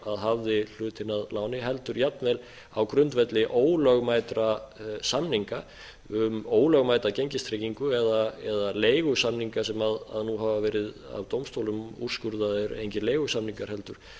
sem hafði hlutinn að láni heldur jafnvel á grundvelli ólögmætra samninga um ólögmæta gengistryggingu eða leigusamninga sem nú hafa verið af dómstólum úrskurðaðir engir leigusamningar heldur